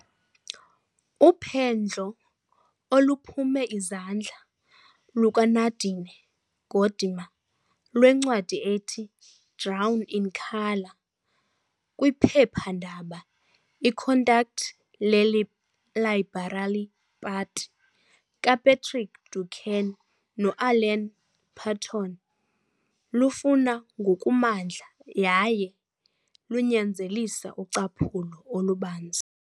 Uphendlo oluphume izandla lukaNadine Gordimer lwencwadi ethi Drawn in Colour kwiphephandaba iContact leLiberal Party kaPatrick Duncan noAlan Paton lufuna ngokumandla yaye lunyanzelisa ucaphulo olubanzi.